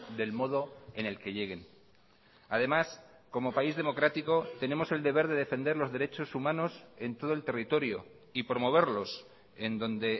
del modo en el que lleguen además como país democrático tenemos el deber de defender los derechos humanos en todo el territorio y promoverlos en donde